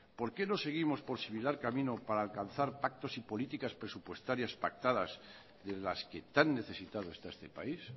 por qué no seguimos por similar camino para alcanzar pactos y políticas presupuestarias pactadas en las que tan necesitados está este país